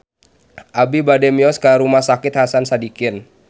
Abi bade mios ka Rumah Sakit Hasan Sadikin